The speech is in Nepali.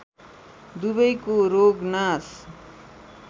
दुवैको रोग नाश